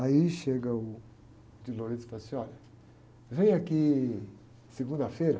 Aí chega o e fala assim, olha, vem aqui segunda-feira,